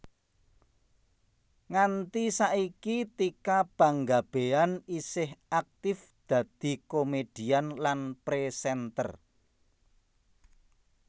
Nganti saiki Tika Panggabean isih aktif dadi komèdian lan présènter